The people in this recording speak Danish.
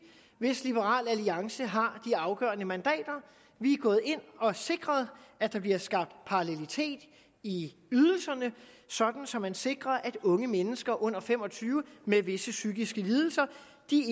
hvis liberal alliance har de afgørende mandater vi er gået ind og har sikret at der bliver skabt parallelitet i ydelserne så man sikrer at unge mennesker under fem og tyve år med visse psykiske lidelser